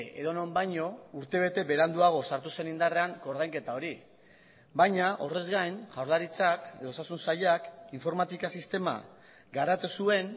edonon baino urtebete beranduago sartu zen indarrean koordainketa hori baina horrez gain jaurlaritzak edo osasun sailak informatika sistema garatu zuen